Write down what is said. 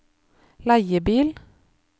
leiebil